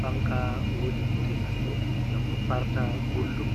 fanka ɗo mari bote massin ngam ɗo farta gulɗum.